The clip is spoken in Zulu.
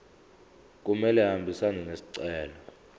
kumele ahambisane nesicelo